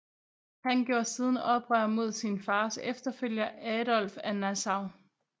Han gjorde siden oprør mod sin fars efterfølger Adolf af Nassau